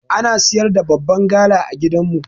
Ana siyar da babban gala a gidan mu.